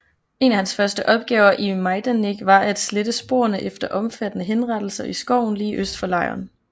En af hans første opgaver i Majdanek var at slette sporene efter omfattende henrettelser i skoven lige øst for lejren